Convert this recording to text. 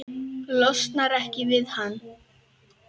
Losnar ekki við hann.